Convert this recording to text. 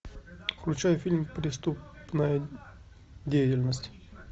включай фильм преступная деятельность